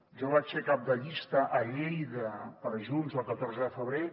jo vaig ser cap de llista a lleida per junts el catorze de febrer